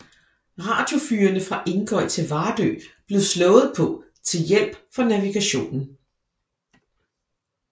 Radiofyrene fra Ingøy til Vardø blev slået på til hjælp for navigationen